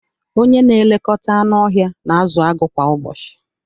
Onye na-elekọta anụ ọhịa na-azụ agụ kwa ụbọchị